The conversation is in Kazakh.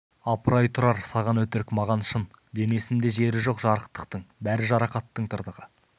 апырай тұрар саған өтірік маған шын денесінде жері жоқ жарықтықтың бәрі жарақаттың тыртығы